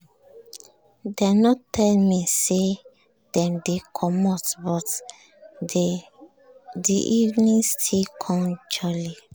dem nor tell me say dem dey come but di evening still com jolly.